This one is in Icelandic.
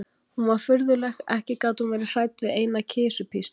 Hún var furðuleg, ekki gat hún verið hrædd við eina kisupísl.